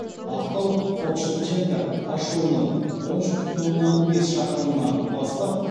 ақтау форт шевченко тас жолының он үш бүтін оннан бес шақырымынан бастап